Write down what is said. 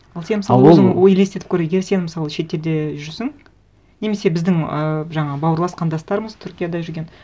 ал сен мысалы а ол ой елестетіп көр егер сен мысалы шетелде жүрсің немесе біздің і жаңағы бауырлас қандастарымыз түркияда жүрген